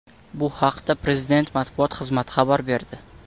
Bu haqda Prezident matbuot xizmati xabar berdi.